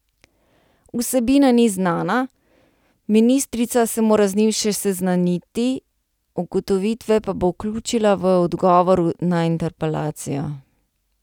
Vsebina ni znana, ministrica se mora z njim še seznaniti, ugotovitve pa bo vključila v odgovor na interpelacijo.